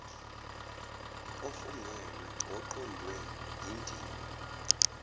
ofungelwe oqondwe yindima